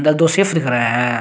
उधर दो शेफ दिख रहे हैं।